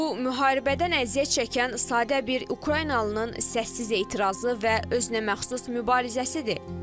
Bu, müharibədən əziyyət çəkən sadə bir ukraynalının səssiz etirazı və özünəməxsus mübarizəsidir.